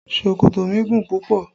Ṣòkòtò mi gùn púpọ̀